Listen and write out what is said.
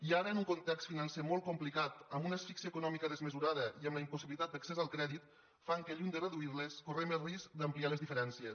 i ara un context financer molt complicat una asfíxia econòmica desmesurada i la impossibilitat d’accés al crèdit fan que lluny de reduir les correm el risc d’ampliar les diferències